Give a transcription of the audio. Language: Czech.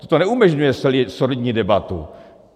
Toto neumožňuje solidní debatu.